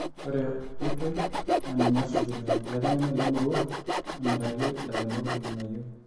Ore oitoi naa ninye esuj illaitengeni le merrrua emiraki ilairemok irnganayio